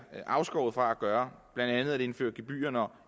afskåret fra at gøre blandt andet at indføre gebyrer når